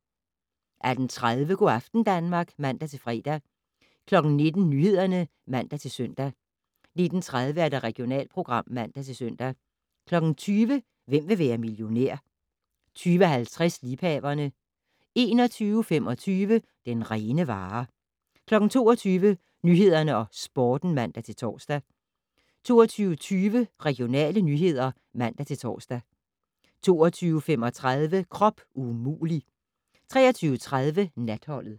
18:30: Go' aften Danmark (man-fre) 19:00: Nyhederne (man-søn) 19:30: Regionalprogram (man-søn) 20:00: Hvem vil være millionær? 20:50: Liebhaverne 21:25: Den rene vare 22:00: Nyhederne og Sporten (man-tor) 22:20: Regionale nyheder (man-tor) 22:35: Krop umulig! 23:30: Natholdet